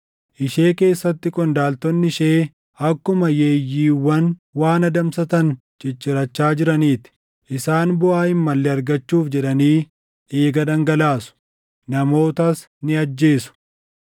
Ishee keessatti qondaaltonni ishee akkuma yeeyyiiwwan waan adamsatan ciccirachaa jiranii ti; isaan buʼaa hin malle argachuuf jedhanii dhiiga dhangalaasu; namootas ni ajjeesu.